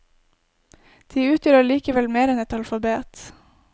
De utgjør allikevel mer enn et alfabet.